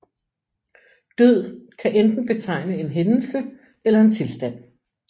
Død kan enten betegne en hændelse eller en tilstand